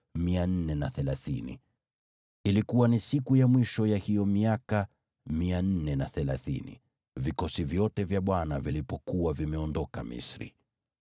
Ilikuwa ni siku ya mwisho ya hiyo miaka 430, vikosi vyote vya Bwana vilipokuwa vimeondoka Misri.